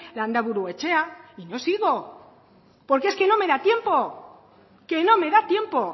loizate landaburu etxea y no sigo porque es que no me da tiempo que no me da